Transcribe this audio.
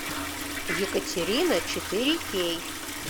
екатерина четыре кей